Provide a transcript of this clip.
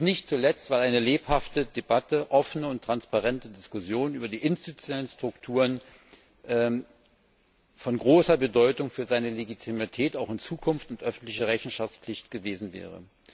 Dies nicht zuletzt, weil eine lebhafte Debatte, offene und transparente Diskussionen über die institutionellen Strukturen von großer Bedeutung für seine Legitimität auch in Zukunft und die öffentliche Rechenschaftspflicht gewesen wäre.